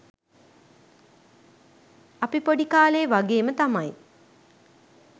අපි පොඩි කාලේ වගේම තමයි